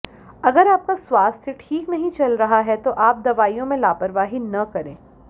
अगर आपका स्वास्थ्य ठीक नहीं चल रहा है तो आप दवाइयों में लापरवाही न करें